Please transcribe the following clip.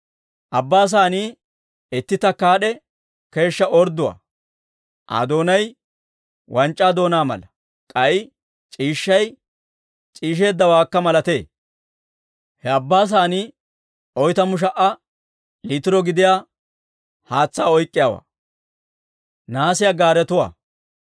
Abbaa Saanii itti takkaad'e keeshshaa ordduwaa; Aa doonay wanc'c'aa doonaa mala; k'ay c'iishshay c'iisheeddawaakka malatee. He Abbaa Saanii oytamu sha"a liitiro gidiyaa haatsaa oyk'k'iyaawaa.